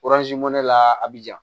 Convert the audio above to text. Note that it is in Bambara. ne la a bi ja